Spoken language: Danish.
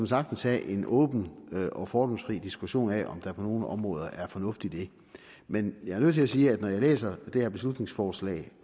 sagtens have en åben og fordomsfri diskussion af om der på nogle områder er fornuft i det men jeg er nødt til sige at når jeg læser det her beslutningsforslag